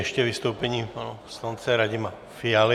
Ještě vystoupení pana poslance Radima Fialy.